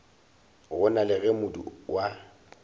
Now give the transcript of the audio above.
gona le ge modu wa